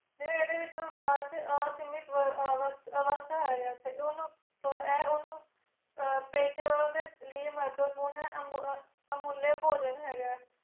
ਜਿਵੇ ਐਦ੍ਹੇ ਵਿਚ ਬਪਾਰ ਛ ਇਹ ਸੀਮਤ ਅਵਸਤਾ ਹੈਗਾ ਐਥੇ ਓਨੁ ਹੂ ਇਹ ਓਨੁ ਪਾਸਿਆਂ ਵੱਲ ਦੇ ਲਾਇ ਮਾਤੇਪੁਨ ਅਮੁਲ ਪੂਜਣ ਹੈਗਾ